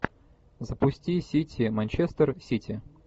запусти сити манчестер сити